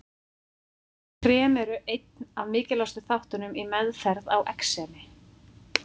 Krem eru einn af mikilvægustu þáttunum í meðferð á exemi.